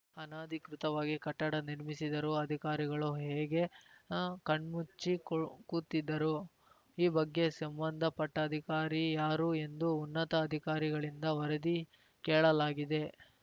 ಅನಧಿಕೃತವಾಗಿ ಕಟ್ಟಡ ನಿರ್ಮಿಸಿದರೂ ಅಧಿಕಾರಿಗಳು ಹೇಗೆ ಕಣ್ಮುಚ್ಚಿ ಕೂತಿದ್ದರು ಈ ಬಗ್ಗೆ ಸಂಬಂಧಪಟ್ಟಅಧಿಕಾರಿ ಯಾರು ಎಂದು ಉನ್ನತ ಅಧಿಕಾರಿಗಳಿಂದ ವರದಿ ಕೇಳಲಾಗಿದೆ